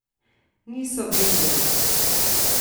Niso vedeli.